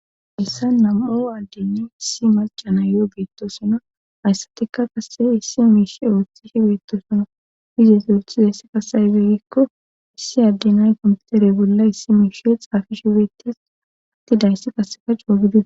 heyssa nam7u addennay issi malca na yo7o beettosona hayssatika kase issi miishe ooththishe beettosana izes oothizeyssi kaseyzey gikko issi addenay kompiuterey bolla issi miishe xaafi shi beettes atti dayssi qaseka coo gidi.